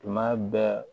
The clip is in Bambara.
Tuma bɛɛ